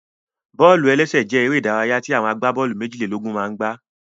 Bọ́ọ̀lù-ẹlẹ́sẹ̀ jẹ́ eré ìdárayá tí àwọn agbábọ́ọ̀lù méjìlélógún máa n gbá